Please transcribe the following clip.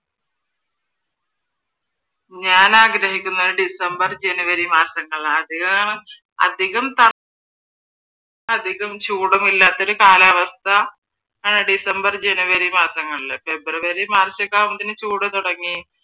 ഞാൻ ആഗ്രഹിക്കുന്നത് december, january മാസങ്ങളാണ്. അധികം ചൂടൊന്നും ഇല്ലാത്തൊരു കാലാവസ്ഥ december, january മാസങ്ങളിൽ february, മാർച്ചോക്കെ ആവുമ്പോ പിന്നെ ചൂട് തുടങ്ങി